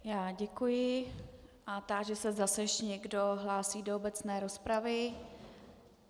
Já děkuji a táži se, zda se ještě někdo hlásí do obecné rozpravy.